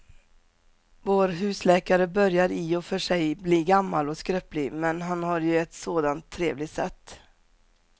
Vår husläkare börjar i och för sig bli gammal och skröplig, men han har ju ett sådant trevligt sätt!